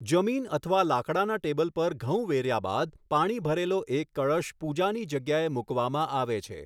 જમીન અથવા લાકડાના ટેબલ પર ઘઉં વેર્યા બાદ, પાણી ભરેલો એક કળશ પૂજાની જગ્યાએ મૂકવામાં આવે છે.